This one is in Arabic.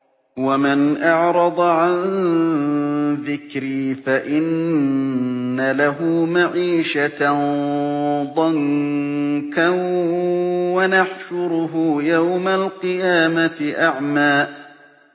وَمَنْ أَعْرَضَ عَن ذِكْرِي فَإِنَّ لَهُ مَعِيشَةً ضَنكًا وَنَحْشُرُهُ يَوْمَ الْقِيَامَةِ أَعْمَىٰ